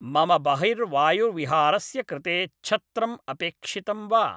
मम बहिर्वायुविहारस्य कृते छत्रम् अपेक्षितं वा